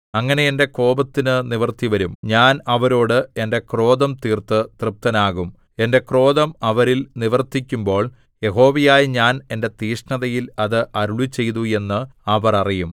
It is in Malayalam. അങ്ങനെ എന്റെ കോപത്തിനു നിവൃത്തിവരും ഞാൻ അവരോട് എന്റെ ക്രോധം തീർത്ത് തൃപ്തനാകും എന്റെ ക്രോധം അവരിൽ നിവർത്തിക്കുമ്പോൾ യഹോവയായ ഞാൻ എന്റെ തീക്ഷ്ണതയിൽ അത് അരുളിച്ചെയ്തു എന്ന് അവർ അറിയും